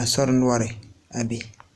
a sori noɔreŋ a be.